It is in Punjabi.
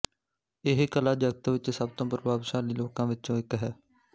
ਇਹ ਕਲਾ ਜਗਤ ਵਿੱਚ ਸਭ ਤੋਂ ਪ੍ਰਭਾਵਸ਼ਾਲੀ ਲੋਕਾਂ ਵਿਚੋਂ ਇੱਕ ਹੈ